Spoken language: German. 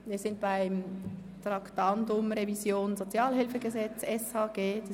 Wir sind beim Traktandum Revision des Sozialhilfegesetzes (SHG) verblieben.